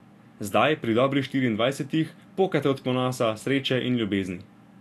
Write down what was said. Zdaj, pri dobrih dvainšestdesetih, pokate od ponosa, sreče in ljubezni.